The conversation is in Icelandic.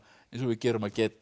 gera